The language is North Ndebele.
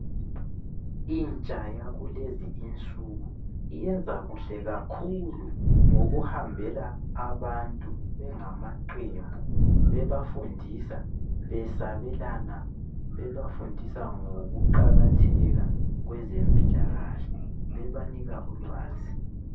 Intsha yakulezi insuku iyenza kuhle kakhulu ngokuhambela abantu bengamaqembu bebafundisa , besabelana bebafundisa ngokuqakatheka kwezempilakahle bebanika ulwazi.